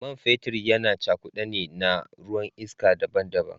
Man fetur yana cakude ne na ruwan iska daban-daban.